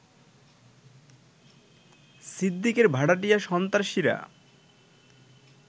সিদ্দিকের ভাড়াটিয়া সন্ত্রাসীরা